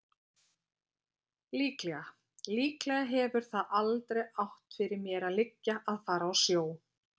Líklega. líklega hefur það aldrei átt fyrir mér að liggja að fara í sjó.